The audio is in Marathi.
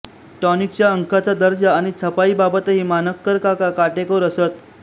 टॉनिकच्या अंकाचा दर्जा आणि छपाईबाबतही मानकरकाका काटेकोर असत